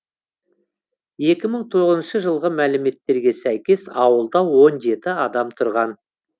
екі мың тоғызыншы жылғы мәліметтерге сәйкес ауылда он жеті адам тұрған